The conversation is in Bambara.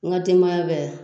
N ga denbaya bɛɛ